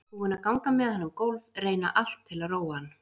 Búin að ganga með hann um gólf, reyna allt til að róa hann.